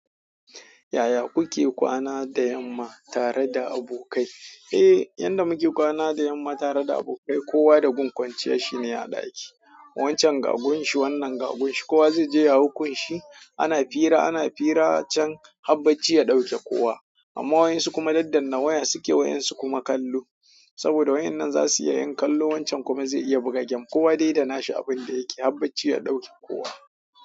Yaya kuke kwana da yamma tare da abokai? Eh, yanda muke kwana da yamma tare da abokai kowa da gun kwanciyar shi ne a ɗaki. Wancan ga gunshi, wannan ga gunshi, kowa zai je ya hau gunshi. Ana hira, ana hira can habbaci ya ɗauke kowa. Amma wadansu su kuma daddanna, waya su ke wadansu su kuma kallo. Saboda wayan nan za su iya yin kallo wancan kuma zai iya buga gem. Kowa dai danashi abun dayake har bacci ya dauke kowa.